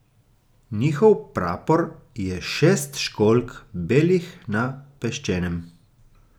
Njihov prapor je šest školjk, belih na peščenem.